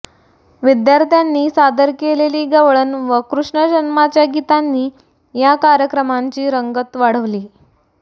विद्यार्थ्यांनी सादर केलेली गवळण व कृष्ण जन्माच्या गीतांनी या कार्यक्रमाची रंगत वाढविली